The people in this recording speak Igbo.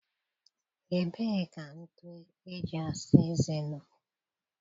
Ebee ka ntụ eji asa eze nọ?